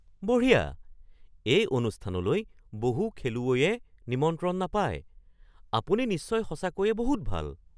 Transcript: বঢ়িয়া! এই অনুষ্ঠানলৈ বহু খেলুৱৈয়ে নিমন্ত্ৰণ নাপায়। আপুনি নিশ্চয় সঁচাকৈয়ে বহুত ভাল!